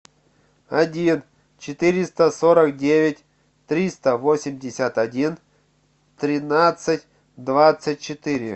один четыреста сорок девять триста восемьдесят один тринадцать двадцать четыре